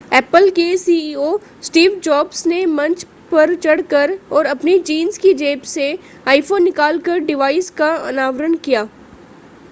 apple के CEO Steve Jobs ने मंच पर चढ़ कर और अपनी जींस की जेब से आईफ़ोन निकालकर डिवाइस का अनावरण किया